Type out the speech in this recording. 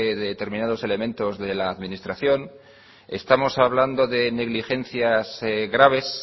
de determinados elementos de la administración estamos hablando de negligencias graves